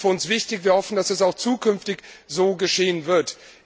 Das ist für uns wichtig. Wir hoffen, dass es auch zukünftig so geschehen wird.